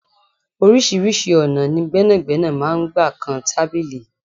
Oríṣiríṣi ọ̀nà ni gbẹ́nàgbẹ́nà máa ń gbà kan tábìlì.